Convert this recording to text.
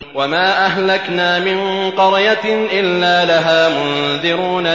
وَمَا أَهْلَكْنَا مِن قَرْيَةٍ إِلَّا لَهَا مُنذِرُونَ